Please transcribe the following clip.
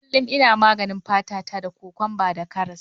Kullum ina maganin fata ta da cucumber da karas.